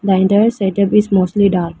Vendors setup is mostly dark.